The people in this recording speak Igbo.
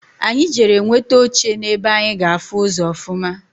Anyị jere nweta oche na-ebe anyi ga-afụ ụzọ ọfụma.